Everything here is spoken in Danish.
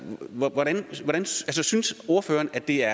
synes ordføreren at det er